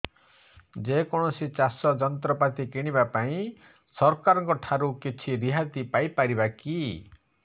ଯେ କୌଣସି ଚାଷ ଯନ୍ତ୍ରପାତି କିଣିବା ପାଇଁ ସରକାରଙ୍କ ଠାରୁ କିଛି ରିହାତି ପାଇ ପାରିବା କି